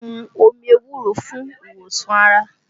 Wọ́n mú omi ewúro fún ìwòsàn ara